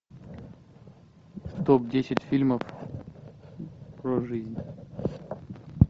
топ десять фильмов про жизнь